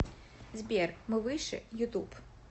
сбер мы выше ютуб